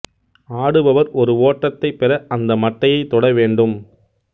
ஆடுபவர் ஒரு ஓட்டத்தைப் பெற அந்த மட்டையைத் தொட வேண்டும்